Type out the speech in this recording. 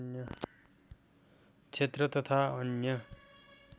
क्षेत्र तथा अन्य